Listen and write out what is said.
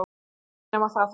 Ekki nema það þó.